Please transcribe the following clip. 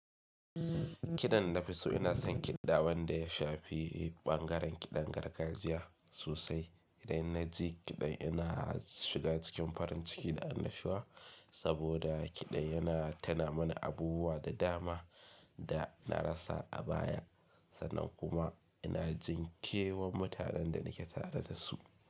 Kiɗan nafi so ina son kiɗa wanda ya shafi ɓangaren kiɗan gargajiya sosai. Idan na ji kiɗan yana shiga cikin farin ciki da annashuwa saboda kiɗan yana tuna mana abubuwa da dama da na rasa a baya sannan kuma ina jin kewan mutanen da nake tare da su.